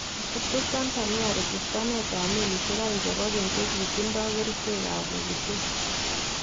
Katubtub Tanzania rechistaneetab meliisyeek aeng chebo keny chekitindo kericheekab pokitatet